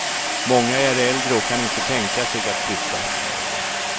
Många är äldre och kan inte tänka sig att flytta.